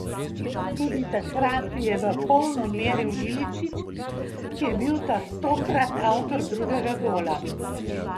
Tudi takrat je v polno meril Iličić, ki je bil tokrat avtor drugega gola.